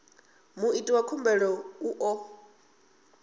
muiti wa khumbelo u ḓo